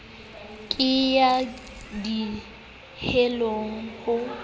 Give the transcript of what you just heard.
ke ya di heleng ho